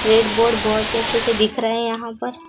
red board बहोत ही अच्छे से दिख रहे हैं यहां पर--